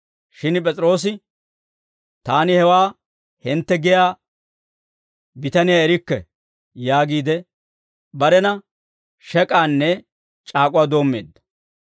Shin P'es'iroosi, «Taani hewaa hintte giyaa bitaniyaa erikke!» yaagiide barena shek'aanne c'aak'uwaa doommeedda.